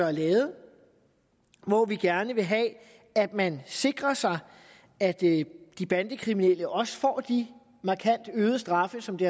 er lavet hvor vi gerne vil have at man sikrer sig at de bandekriminelle også får de markant øgede straffe som det